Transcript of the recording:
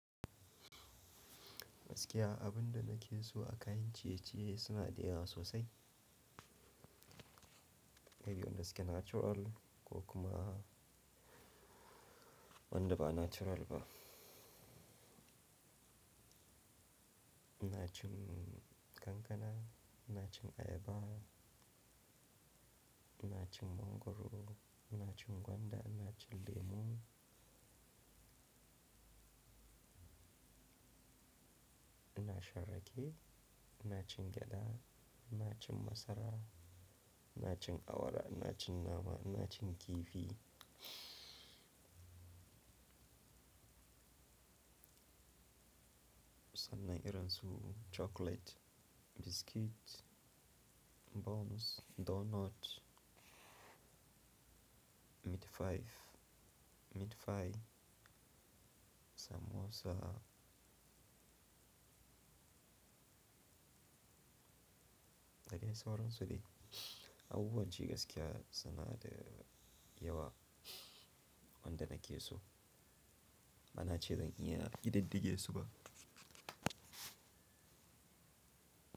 Gaskiya abun da nake so akayin ciye-ciye suna da yawa sosai. Kai yau na gaske natural ko kuma wanda ba natural ba. Ina cin kankana, ina cin ayaba, ina cin mangwaro, ina cin gwanda, ina cin lemu, ina shan rake, ina cin gyada, ina cin masara, ina cin awara, ina cin nama, ina cin kifi. Sannan ina rantsu chocolate, biscuit, buns, donut, meat pie, meat pie, samosa. Da gani sauransu dai. Abubuwan ci gaskiya suna da yawa wanda nake so. Bana ce zan iya ƙididdige su ba.